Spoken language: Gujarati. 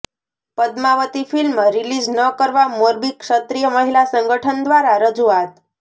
પદ્માવતી ફિલ્મ રિલીઝ ન કરવા મોરબી ક્ષત્રિય મહિલા સંગઠન દ્વારા રજુઆત